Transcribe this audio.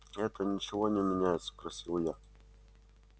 это ничего не меняет спросил я